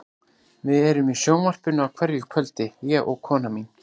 Við erum í sjónvarpinu á hverju kvöldi, ég og konan mín.